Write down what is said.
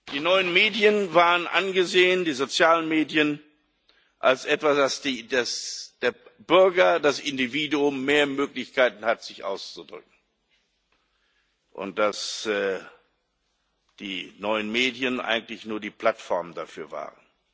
Die neuen Medien waren angesehen die sozialen Medien als etwas, wodurch der Bürger, das Individuum, mehr Möglichkeiten hat, sich auszudrücken, wofür die neuen Medien eigentlich nur die Plattform waren.